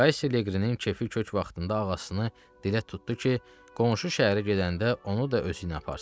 Kaşşi Leqrinin kefi kök vaxtında ağacını dilə tutdu ki, qonşu şəhərə gedəndə onu da özüylə aparsın.